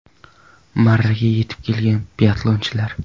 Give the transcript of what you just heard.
Marraga yetib kelgan biatlonchilar.